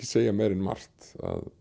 segja meira en margt